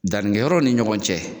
Danni kɛ yɔrɔ ni ɲɔgɔn cɛ.